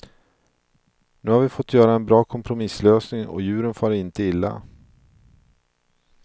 Nu har vi fått göra en bra kompromisslösning och djuren far inte illa.